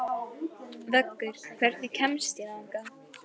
Vöggur, hvernig kemst ég þangað?